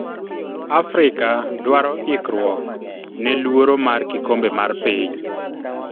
Africa dwaro ikruok ne luoro mar kikombe mar piny.